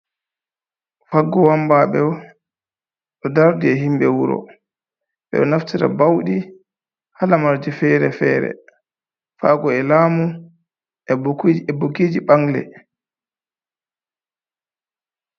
Faggo wambaaɓe on, ɗo dardi e himɓe wuro, ɓe ɗo naftira bawɗi haa lamarji fere-fere, faago e laamu, e bukiiji ɓangle.